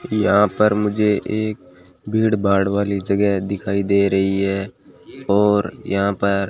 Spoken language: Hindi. यहां पर मुझे एक भीड़भाड़ वाली जगह दिखाई दे रही है और यहां पर --